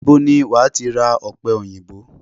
Ibo ni wàá ti ra ọ̀pẹ òyìnbó?